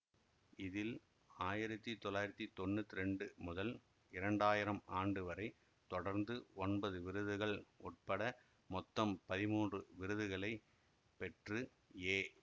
இதில் ஆயிரத்தி தொள்ளாயிரத்தி தொன்னூத்தி இரண்டு முதல் இரண்டாயிரம் ஆண்டுவரை தொடர்ந்து ஒன்பது விருதுகள் உட்பட மொத்தம் பதிமூன்று விருதுகளை பெற்று ஏ